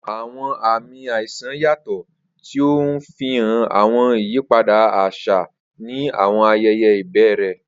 Awọn aami aisan yatọ, ti o nfihan awọn iyipada aṣa ni awọn ayẹyẹ ibẹrẹ.